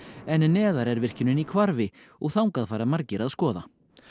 en neðar er virkjunin í hvarfi og þangað fara margir að skoða